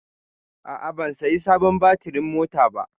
A'a, ban saya sabon batirin mota ba.